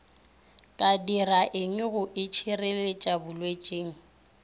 ka diraeng go itšhireletša bolwetšing